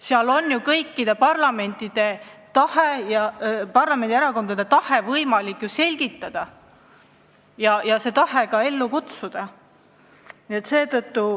Seal on ju võimalik kõikide parlamendi erakondade tahet selgitada ja ka ellu viia.